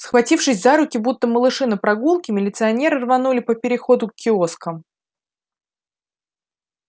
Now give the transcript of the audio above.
схватившись за руки будто малыши на прогулке милиционеры рванули по переходу к киоскам